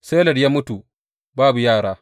Seled ya mutu babu yara.